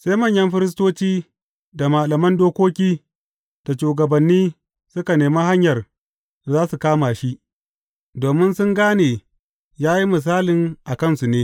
Sai manyan Firistoci da malaman dokoki da shugabanni suka nemi hanyar da za su kama shi, domin sun gane ya yi misalin a kansu ne.